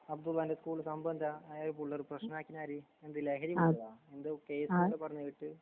അബ്ദുള്ളാന്റെ school സംഭവെന്താ? അയാള്കൂല്ലറ് പ്രശ്‌നമാക്കീനാര്? എന്ത്ലഹരി മരുന്നാ? എന്തോ കേസൊക്കെ പറഞ്ഞ് കേട്ട്.